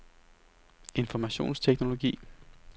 informationsteknologi